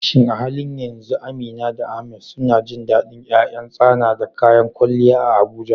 Shin a halin yanzu Amina da Ahmad suna jin dadin ’yan ’yan tsana da kayan kwalliya a Abuja?